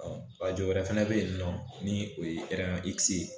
a jɔyɔrɔ fana bɛ yen nɔ ni o ye